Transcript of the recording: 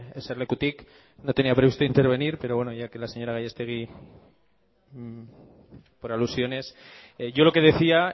eserlekutik no tenía previsto intervenir pero bueno ya que la señora gasllastegui por alusiones yo lo que decía